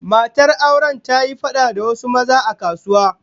Matar auren ta yi fada da wasu maza a kasuwa